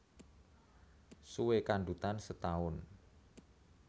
Suwé kandhutan setaun